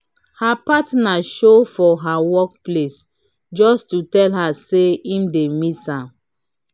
her partner show for her work place just to tell her say im dey miss her.